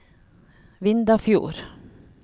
Vindafjord